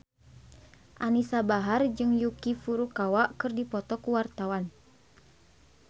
Anisa Bahar jeung Yuki Furukawa keur dipoto ku wartawan